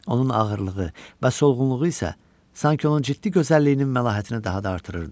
Onun ağırlığı və solğunluğu isə sanki onun ciddi gözəlliyinin məlahətini daha da artırırdı.